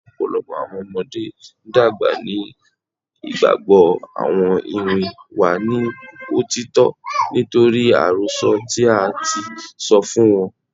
Ọpọlọpọ awọn ọmọde dagba ni igbagbọ awọn iwin wa ni otitọ nitori arosọ ti a ti sọ fun wọn